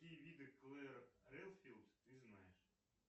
какие виды клэр редфилд ты знаешь